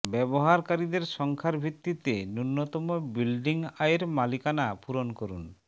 ব্যবহারকারীদের সংখ্যার ভিত্তিতে ন্যূনতম বিল্ডিং আয়ের মালিকানা পূরণ করুন